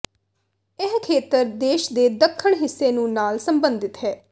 ਇਹ ਖੇਤਰ ਦੇਸ਼ ਦੇ ਦੱਖਣ ਹਿੱਸੇ ਨੂੰ ਨਾਲ ਸੰਬੰਧਿਤ ਹੈ